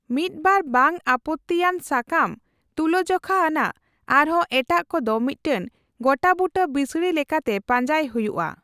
ᱢᱤᱫ ᱵᱟᱨ ᱵᱟᱝ ᱟᱯᱚᱛᱛᱤ ᱟᱱ ᱼᱥᱟᱠᱟᱢ ᱛᱩᱞᱟᱹᱡᱚᱠᱷᱟ ᱟᱱᱟᱜ, ᱟᱨᱦᱚᱸ ᱮᱴᱟᱜ ᱠᱚᱫᱚ ᱢᱤᱫᱴᱟᱝ ᱜᱚᱴᱟᱵᱩᱴᱟᱹ ᱵᱤᱥᱲᱤ ᱞᱮᱠᱟᱛᱮ ᱯᱟᱸᱡᱟᱭ ᱦᱩᱭᱩᱜᱼᱟ ᱾